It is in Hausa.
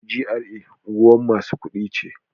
GRA unguwar masu kuɗi ce.